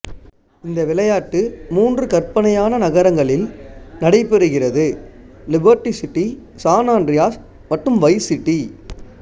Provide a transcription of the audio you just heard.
இந்த விளையாட்டு மூன்று கற்பனையான நகரங்களில் நடைபெறுகிறது லிபர்ட்டி சிட்டி சான் அன்றியாஸ் மற்றும் வைஸ் சிட்டி